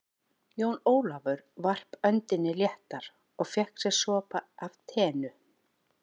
Jón Ólafur varp öndinni léttar og fékk sér sopa af teinu.